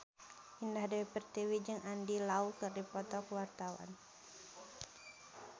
Indah Dewi Pertiwi jeung Andy Lau keur dipoto ku wartawan